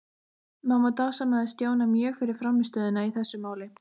Mamma dásamaði Stjána mjög fyrir frammistöðuna í þessu máli.